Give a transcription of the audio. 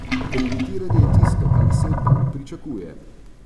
Kreditiranje je tisto, kar se od bank pričakuje.